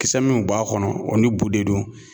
Kisɛ minw b'a kɔnɔ o ni bu de don.